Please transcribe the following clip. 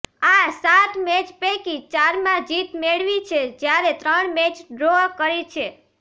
આ સાત મેચ પૈકી ચારમાં જીત મેળવી છે જ્યારે ત્રણ મેચ ડ્રો કરી છે